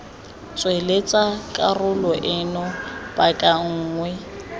tsweletsa karolo eno paka nngwe